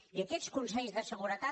i aquests consells de seguretat